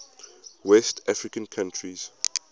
west african countries